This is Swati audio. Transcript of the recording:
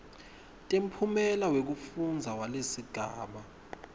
temphumela wekufundza walesigaba